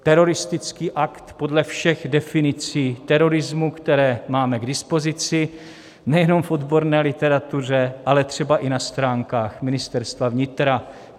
Teroristický akt podle všech definicí terorismu, které máme k dispozici nejenom v odborné literatuře, ale třeba i na stránkách Ministerstva vnitra.